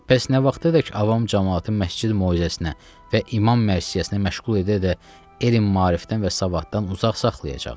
Bəs nə vaxta dək avam camaatını məscid möcüzəsinə və imam mərsiyəsinə məşğul edə-edə elmi maarifdən və savaddan uzaq saxlayacaqlar?